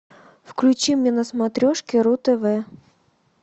включи мне на смотрешке ру тв